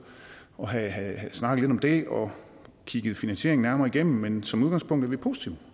og have snakket lidt om det og kigge finansieringen nærmere igennem men som udgangspunkt er vi positive